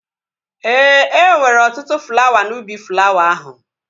Ee, e nwere ọtụtụ flawa n'ubi flawa ahụ